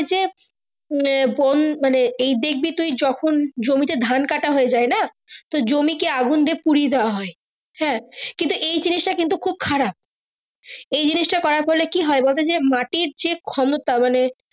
উম মানে এই দেখবি তুই যখন জমি তে ধান কাটা হয়ে যাই না জমি কে আগুনদিয়ে পুড়িয়ে দেওয়া হয় হ্যাঁ কিন্তু এই জিনিস টা কিন্তু খুব খারাপ এই জিনিস তার করার ফলে কি হয় বলতো হে মাটির যে ক্ষমতা মানে।